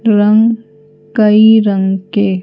रंग कई रंग के --